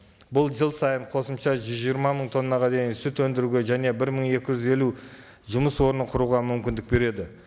бұл жыл сайын қосымша жүз жиырма мың тоннаға дейін сүт өндіруге және бір мың екі жүз елу жұмыс орнын құруға мүмкіндік береді